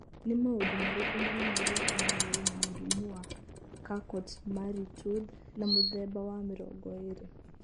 Nĩ maũndũ marĩkũ monanagia atĩ mũndũ arĩ na mũrimũ wa Charcot Marie Tooth wa mũthemba wa 2O?